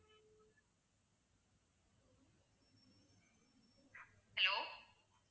hello